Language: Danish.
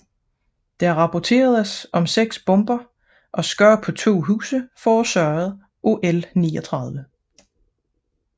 Der rapporteredes om 6 bomber og skade på 2 huse forårsaget af L 39